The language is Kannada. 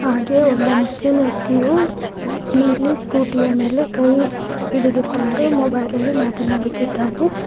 ಹಾಗೆ ಒಬ್ಬ ಮುಸ್ಲಿಂ ವ್ಯಕ್ತಿಯು ನೀಲಿ ಸ್ಕೂಟಿ ಯ ಮೇಲೆ ಕೈ ಹಿಡಿದುಕೊಂಡು ಮೊಬೈಲ್ ಅಲ್ಲಿ ಮಾತನಾಡುತ್ತಿದ್ದಾನೆ.